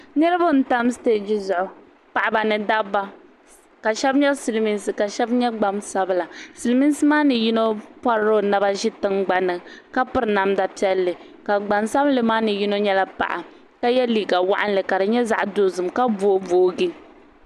Niriba n tam siteji zuɣu paɣaba ni dabba ka sheba nyɛ silimiinsi ka sheba nyɛ gbansabla silimiinsi maani yino porila o naba ʒi tingbanni ka piri namda piɛli ka gbansabili maa ni yino nyɛla paɣa ka ye liiga waɣinli ka di nyɛ zaɣa dozim ka booboogi.